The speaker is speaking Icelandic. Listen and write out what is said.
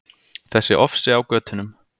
Þessi ofsi á götunum.